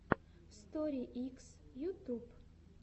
стори икс ютюб